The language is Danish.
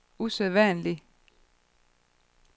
usædvanlig